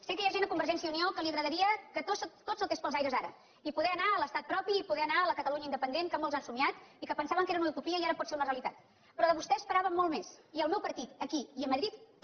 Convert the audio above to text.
sé que hi ha gent a convergència i unió que li agradaria que tot saltés pels aires ara i poder anar a l’estat propi i poder anar a la catalunya independent que molts han somniat i que pensaven que era una utopia i que ara pot ser una realitat però de vostè n’esperava molt més i el meu partit aquí i a madrid també